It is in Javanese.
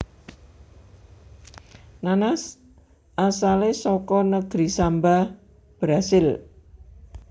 Nanas asalé saka negeri Samba Brasil